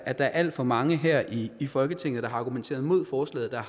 at der er alt for mange her i i folketinget der har argumenteret mod forslaget der